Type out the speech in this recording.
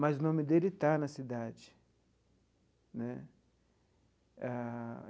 mas o nome dele está na cidade né ah.